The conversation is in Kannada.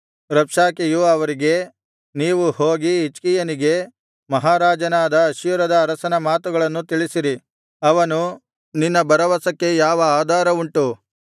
ರಬ್ಷಾಕೆಯು ಅವರಿಗೆ ನೀವು ಹೋಗಿ ಹಿಜ್ಕೀಯನಿಗೆ ಮಹಾರಾಜನಾದ ಅಶ್ಶೂರದ ಅರಸನ ಮಾತುಗಳನ್ನು ತಿಳಿಸಿರಿ ಅವನು ನಿನ್ನ ಭರವಸಕ್ಕೆ ಯಾವ ಆಧಾರವುಂಟು